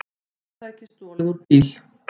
Leiðsögutæki stolið úr bíl